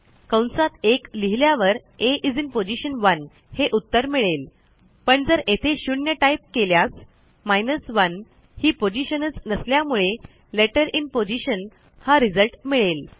कंसात 1लिहिल्यावर a is in position 1 हे उत्तर मिळेलपण जर येथे 0टाईप केल्यास 1ही पोझिशनच नसल्यामुळे लेटर इन positionहा रिझल्ट मिळेल